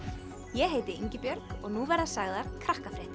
ég heiti Ingibjörg og nú verða sagðar